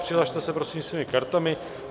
Přihlaste se prosím svými kartami.